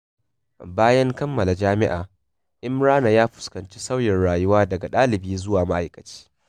Bayan kammala jami’a, Imrana ya fuskanci sauyin rayuwa daga ɗalibi zuwa ma’aikaci.